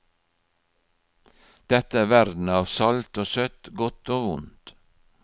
Dette er verden av salt og søtt, godt og vondt.